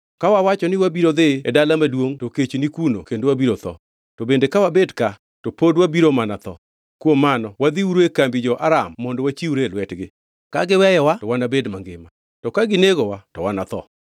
Ka wawacho ni wabiro dhi e dala maduongʼ, to kech ni kuno kendo wabiro tho. To bende ka wabet ka, pod wabiro mana tho. Kuom mano wadhiuru e kambi jo-Aram mondo wachiwre e lwetgi. Ka giweyowa to wanabed mangima, to ka ginegowa to wanatho.”